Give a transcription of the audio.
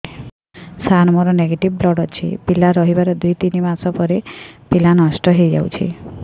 ସାର ମୋର negative blood ଅଛି ପିଲା ରହିବାର ଦୁଇ ତିନି ମାସ ପରେ ପିଲା ନଷ୍ଟ ହେଇ ଯାଉଛି